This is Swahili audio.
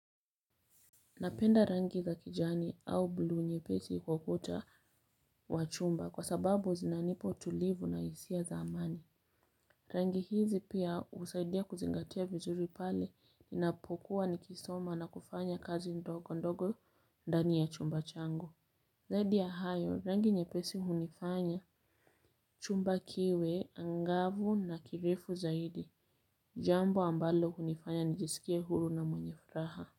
Napenda rangi za kijani au bluu nyepesi kwa kuta wa chumba kwa sababu zinanipa utulivu na hisia za amani. Rangi hizi pia husaidia kuzingatia vizuri pale ninapokuwa nikisoma na kufanya kazi ndogo ndogo ndani ya chumba changu. Zaidi ya hayo rangi nyepesi hunifanya chumba kiwe angavu na kirifu zaidi. Jambo ambalo hunifanya nijisikie huru na mwenye furaha.